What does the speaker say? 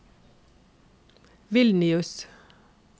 Vilnius